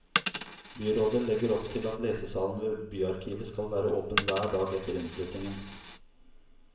Byrådet legger opp til at lesesalen ved byarkivet skal være åpen hver dag etter innflyttingen.